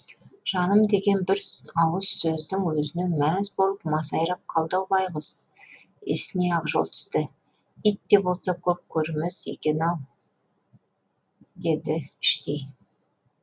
жаным деген бір ауыз сөздің өзіне мәз болып масайрап қалды ау байғұс есіне ақжол түсті ит те болса көп көрімес екен ау деді іштей